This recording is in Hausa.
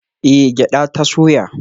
Eh gyada ta soya